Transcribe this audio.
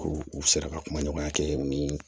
U u sera ka kuma ɲɔgɔnya kɛ ni